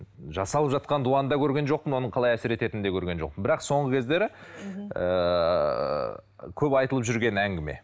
жасалып жатқан дуаны да көрген жоқпын оның қалай әсер ететінін де көрген жоқпын бірақ соңғы кездері ыыы көп айтылып жүрген әңгіме